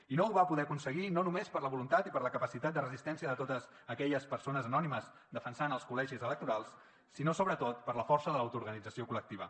i no ho va poder aconseguir no només per la voluntat i per la capacitat de resistència de totes aquelles persones anònimes defensant els col·legis electorals sinó sobretot per la força de l’autoorganització col·lectiva